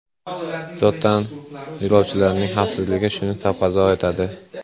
Zotan, yo‘lovchilarning xavfsizligi shuni taqozo etadi.